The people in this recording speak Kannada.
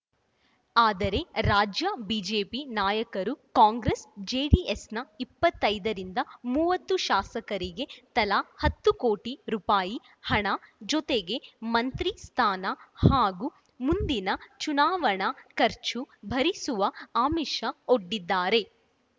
ಆದರೆ ರಾಜ್ಯ ಬಿಜೆಪಿ ನಾಯಕರು ಕಾಂಗ್ರೆಸ್‌ ಜೆಡಿಎಸ್‌ನ ಇಪ್ಪತ್ತೈದರಿಂದ ಮೂವತ್ತು ಶಾಸಕರಿಗೆ ತಲಾ ಹತ್ತು ಕೋಟಿ ರುಪಾಯಿ ಹಣ ಜೊತೆಗೆ ಮಂತ್ರಿ ಸ್ಥಾನ ಹಾಗೂ ಮುಂದಿನ ಚುನಾವಣಾ ಖರ್ಚು ಭರಿಸುವ ಆಮಿಷ ಒಡ್ಡಿದ್ದಾರೆ